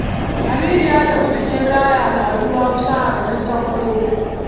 Aminu ya tafi bikin raya al'adun Hauswa a garin Sokoto.